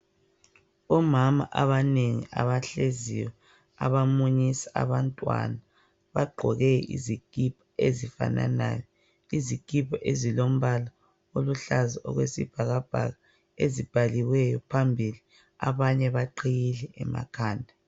Omama abanengi abahleziyo abamunyisa abantwana bagqoke izikipa ezifananayo, izikipa ezilombala oluhlaza okwesibhakabhaka ezibhaliweyo phambili abanye baqhiyile emakhanda.